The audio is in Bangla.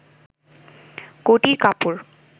কটির কাপড়